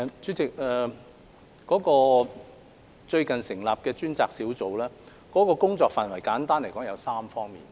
主席，最近成立的專責小組的工作範圍簡單來說分為3方面。